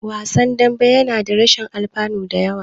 Wasan dambe yana da rashin alfanu da yawa.